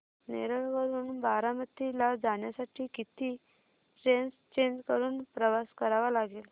नेरळ वरून बारामती ला जाण्यासाठी किती ट्रेन्स चेंज करून प्रवास करावा लागेल